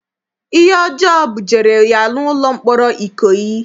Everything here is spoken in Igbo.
Ihe ọjọọ bujere ya n'ụlọ mkpọrọ Ikoyi.